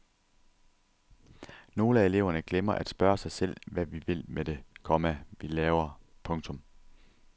Nogle af eleverne glemmer at spørge sig selv hvad vi vil med det, komma vi laver. punktum